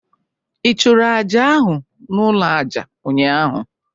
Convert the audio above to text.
Ị chụrụ Àjà ahụ n'ụlọ àjà ụnyaahụ?